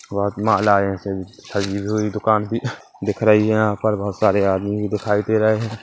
बहोत मालाये से सजी हुई दुकान भी दिख रही है यहाँ पर बहुत सारे आदमी भी दिखाई दे रहे हैं।